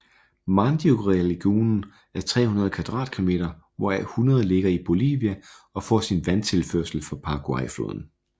Mandiorélagunen er 300 kvadratkilometer hvoraf 100 ligger i Bolivia og får sin vandtilførsel fra Paraguayfloden